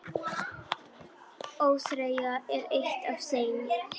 ÓÞREYJA er eitt af þeim.